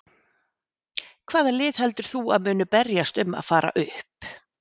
Hvaða lið heldur þú að muni berjast um að fara upp?